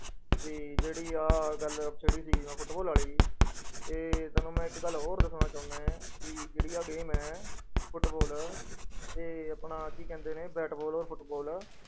ਵੀ ਜਿਹੜੀ ਆਹ ਗੱਲ ਛੇੜੀ ਸੀਗੀ ਮੈਂ ਫੁਟਬਾਲ ਵਾਲੀ, ਇਹ ਤੁਹਾਨੂੰ ਮੈਂ ਇੱਕ ਗੱਲ ਹੋਰ ਦੱਸਣਾ ਚਾਹੁਨਾ ਹੈ ਕਿ ਜਿਹੜੀ ਆਹ game ਹੈ ਫੁਟਬਾਲ ਤੇ ਆਪਣਾ ਕੀ ਕਹਿੰਦੇ ਨੇ ਬੈਟਬਾਲ ਔਰ ਫੁਟਬਾਲ।